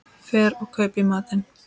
Fer og kaupi í matinn.